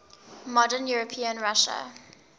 modern european russia